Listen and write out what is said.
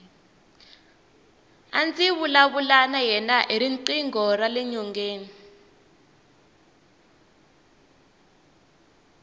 a ndzi vulavula na yena hi riqingho rale nyongeni